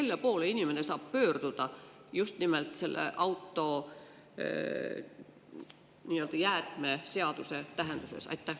Kelle poole inimene saab pöörduda just nimelt autoga jäätmeseaduse tähenduses?